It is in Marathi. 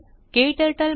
क्टर्टल